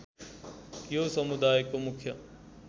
यो समुदायको मुख्य